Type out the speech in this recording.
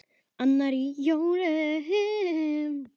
Annar í jólum.